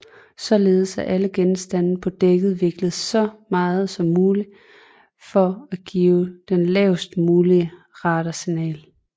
Således er alle genstande på dækket vinklet så meget som muligt for at give den lavest mulige radarsignatur